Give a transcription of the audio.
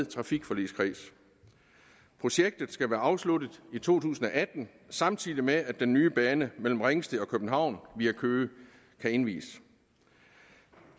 trafikforligskredsen projektet skal være afsluttet i to tusind og atten samtidig med at den nye bane mellem ringsted og københavn via køge kan indvies